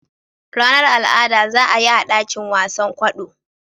Ranar al'ada za a yi a dakin wasan kwaɗo.